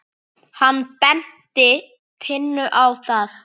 Hann benti Tinnu á það.